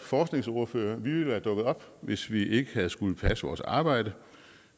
forskningsordførere ville være dukket op hvis vi ikke havde skullet passe vores arbejde